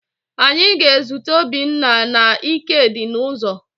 Anyị ga-ezute Obinna na Ikedi n'ụzọ